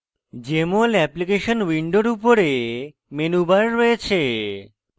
jmol application window উপরে menu bar রয়েছে